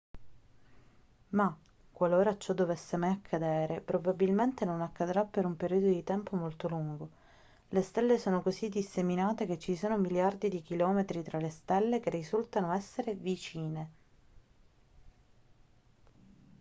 ma qualora ciò dovesse mai accadere probabilmente non accadrà per un periodo di tempo molto lungo le stelle sono così disseminate che ci sono miliardi di chilometri tra le stelle che risultano essere vicine